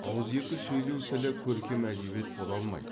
ауызекі сөйлеу тілі көркем әдебиет бола алмайды